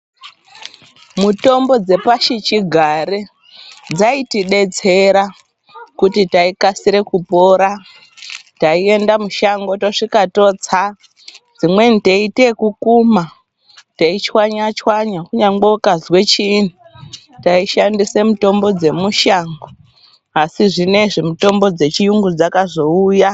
Mutombo dzepashichigare dzaitidersera kuti taikasire kupora taienda mushango tosvika totsa dzimweni teiite ekukumha tochwanga chwanya kunyangwe ukazwe chiini taishandise mitombo dzemushango asi zvinezvi mitombo dzechiyungu dzakazouya.